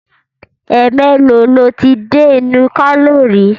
Ẹ̀ẹ̀mélòó lo ti dé ìlú Kano rí?